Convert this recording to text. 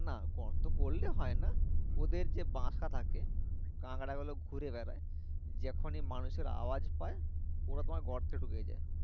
না গর্ত করলেই হয় না ওদের যে বাসা থাকে কাঁকড়া গুলো ঘুরে বেড়া যখনি মানুষের আওয়াজ পায় ওরা তোমার গর্তে ঢুকে যায়